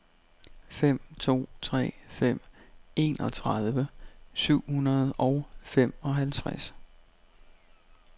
fem to tre fem enogtredive syv hundrede og femoghalvtreds